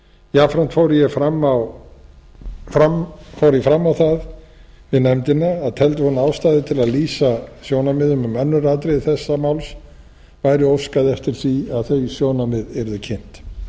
jafnframt fór ég fram á það við nefndina að teldi hún ástæðu til að lýsa sjónarmiðum um önnur atriði þessa máls væri óskað eftir að þau sjónarmið yrðu kynnt